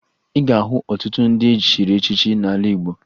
Ị ga-ahụ ọtụtụ ndị e chiri echichi n'ala Igbo